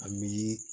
A miiri